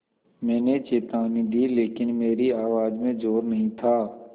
मैंने चेतावनी दी लेकिन मेरी आवाज़ में ज़ोर नहीं था